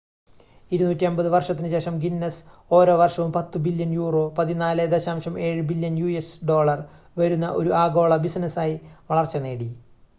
250 വർഷത്തിനുശേഷം ഗിന്നസ് ഓരോ വർഷവും 10 billion euro 14.7 billion US dollar വരുന്ന ഒരു ആഗോള ബിസിനസായി വളർച്ച നേടി